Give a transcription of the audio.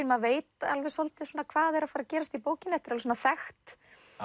maður veit svolítið hvað er að fara að gerast í bókinni þetta er þekkt